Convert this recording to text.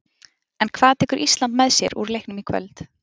En hvað tekur Ísland með sér úr leiknum í kvöld?